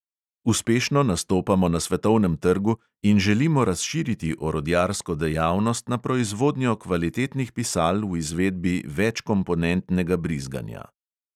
Uspešno nastopamo na svetovnem trgu in želimo razširiti orodjarsko dejavnost na proizvodnjo kvalitetnih pisal v izvedbi večkomponentnega brizganja.